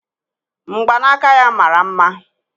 Mgbanaka ya mara mma